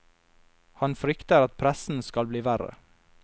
Han frykter at pressen skal bli verre.